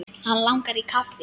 Hann langar í kaffi.